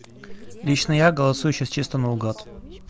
лично я голосую сейчас чисто наугад